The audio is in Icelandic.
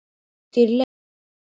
Dýrleif, hvar er dótið mitt?